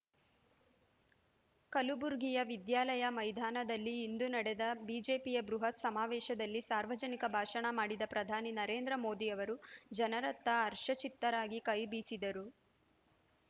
ಕಲ್ಬುರ್ಗಿಯ ವಿದ್ಯಾಲಯ ಮೈದಾನದಲ್ಲಿ ಇಂದು ನ‌ಡೆದ ಬಿಜೆಪಿಯ ಬೃಹತ್ ಸಮಾವೇಶದಲ್ಲಿ ಸಾರ್ವಜನಿಕ ಭಾಷಣ ಮಾಡಿದ ಪ್ರಧಾನಿ ನರೇಂದ್ರ ಮೋದಿ ಅವರು ಜನರತ್ತ ಹರ್ಷಚಿತ್ತರಾಗಿ ಕೈ ಬೀಸಿದರು